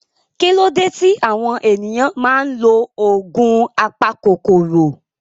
Kí ló dé tí àwọn ènìyàn máa ń lo oògùn apakòkòrò?